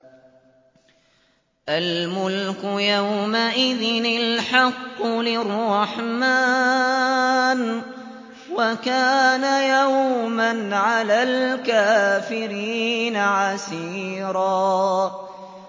الْمُلْكُ يَوْمَئِذٍ الْحَقُّ لِلرَّحْمَٰنِ ۚ وَكَانَ يَوْمًا عَلَى الْكَافِرِينَ عَسِيرًا